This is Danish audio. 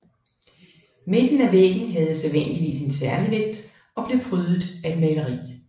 Midten af væggen havde sædvanligvis en særlig vægt og blev prydet af et maleri